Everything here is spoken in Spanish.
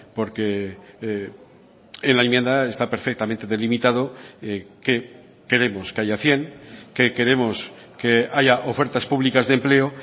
porque en la enmienda está perfectamente delimitado que queremos que haya cien que queremos que haya ofertas públicas de empleo